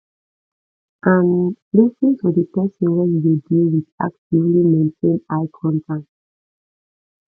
um lis ten to the person wey you dey deal with actively maintain eye contact